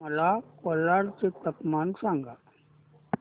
मला कोलाड चे तापमान सांगा